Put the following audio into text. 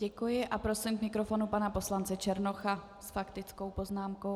Děkuji a prosím k mikrofonu pana poslance Černocha s faktickou poznámkou.